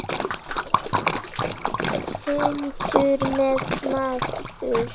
Hundur eða maður.